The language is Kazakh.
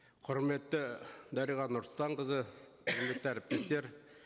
құрметті дариға нұрсұлтанқызы әріптестер